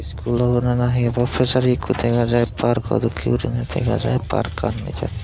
iskul obo na hi obo pejari ekko dega jai parko dokke guri dega jai parkani jai.